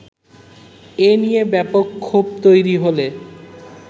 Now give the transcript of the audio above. এ নিয়ে ব্যাপক ক্ষোভ তৈরি হলে